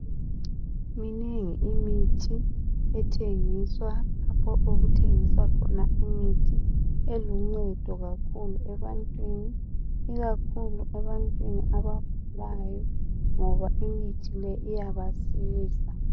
Minengi imithi ethengiswa lapho okuthengiswa khona imithi eluncedo kakhulu ebantwini ikakhulu ebantwini abagulayo ngoba imithi le iyabasiza.